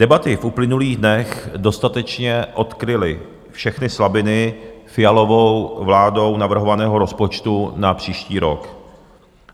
Debaty v uplynulých dnech dostatečně odkryly všechny slabiny Fialovou vládou navrhovaného rozpočtu na příští rok.